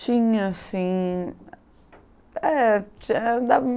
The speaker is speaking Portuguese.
Tinha, sim. É, é da